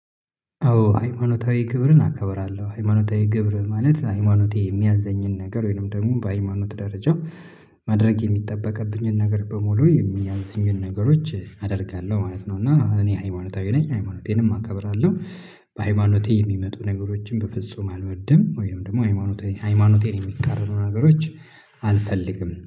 አዎ ሃይማኖታዊ ግብርን አከብራለሁ ሃይማኖታዊ ግብር ማለት ሃይማኖቴ የሚያዘኝን ነገር ወይንም ደግሞ በሃይማኖት ደረጃ ማድረግ የሚጠበቅብኝን ነገር በሙሉ የሚያዝኙኝን ነገሮች አደርጋለሁ ማለት ነው። እና እኔ ሃይማኖታዊ ነኝ ሃይማኖቴንም አከብራለሁ። በሃይማኖቴ የሚመጡ ነገሮችን በፍጹም አልወድም ወይም ደግሞ ሃይማኖቴ ሃይማኖቴን የሚቃረኑ ነገሮች አልፈልግም